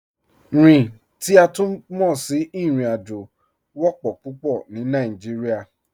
Rin, ti a tun mọ sí irin-ajo, wọ́pọ̀ pupọ̀ ni Nàìjíríà.